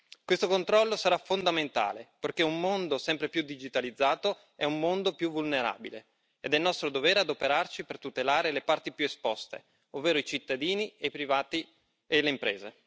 Questo controllo sarà fondamentale perché un mondo sempre più digitalizzato è un mondo più vulnerabile ed è nostro dovere adoperarci per tutelare le parti più esposte, ovvero i cittadini, i privati e le imprese.